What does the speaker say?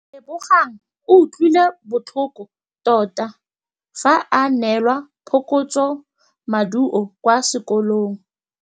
Lebogang o utlwile botlhoko tota fa a neelwa phokotsômaduô kwa sekolong.